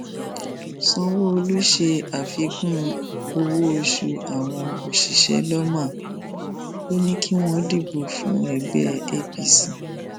sanwóolu ṣe àfikún owóoṣù àwọn òṣìṣẹ lawma ò ní kí wọn dìbò fún ẹgbẹ apc